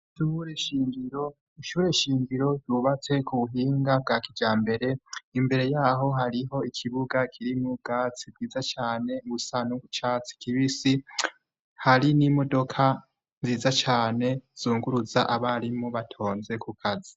Ishure nshingiro, ishure nshingiro ryubatse ku buhinga bwa kijambere, imbere y'aho hariho ikibuga kirimwo ubwatsi bwiza cane busa no ku catsi kibisi, hari n'imodoka nziza cane zunguruza abarimu batonze ku kazi.